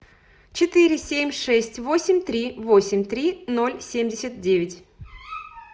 четыре семь шесть восемь три восемь три ноль семьдесят девять